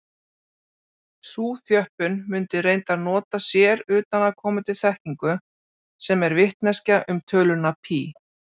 Sú þjöppun mundi reyndar nota sér utanaðkomandi þekkingu, sem er vitneskja um töluna pí.